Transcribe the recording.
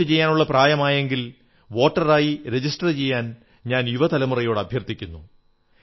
വോട്ടുചെയ്യാനുള്ള പ്രായമായെങ്കിൽ വോട്ടറായി രജിസ്റ്റർ ചെയ്യാൻ ഞാൻ യുവ തലമുറയോട് അഭ്യർഥിക്കുന്നു